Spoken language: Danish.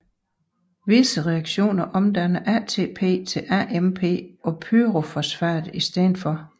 Visse reaktioner omdanner ATP til AMP og pyrofosfat i stedet